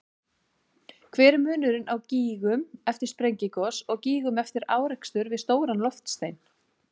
Hver er munurinn á gígum eftir sprengigos og gígum eftir árekstur við stóran loftstein?